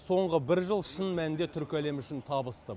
соңғы бір жыл шын мәнінде түркі әлемі үшін табысты